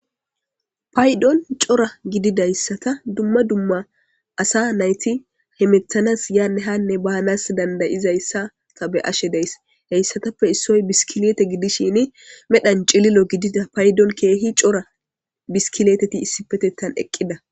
Payiddoni corra gididayissatta duma duma assa nayiti hemetanasi yanne hanne bannas danidda'dayissa be'ashe dayisi. Hayisatape issoyi biskilite gidishini medhani cililo phayidoni kehi coora biskiliteti isipetethani eqida